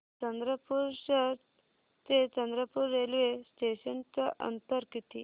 चंद्रपूर शहर ते चंद्रपुर रेल्वे स्टेशनचं अंतर किती